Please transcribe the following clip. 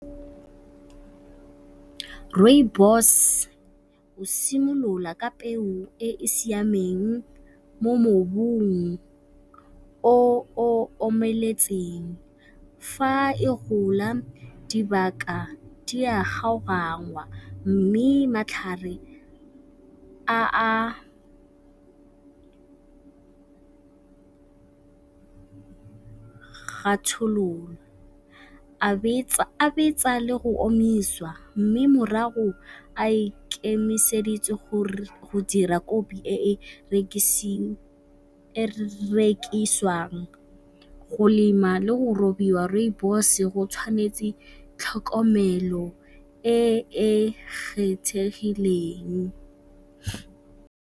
Rooibos e simolola ka peo e e siameng mo mobung o o omeletseng. Fa e gola dibaka di a kgaogangwa mme matlhare a a ga a betsa le go omiswa mme morago a ikemiseditse gore go dira kopi e rekiswang. Go lema le go robiwa Rooibos go tshwanetse tlhokomelo e e kgethegileng.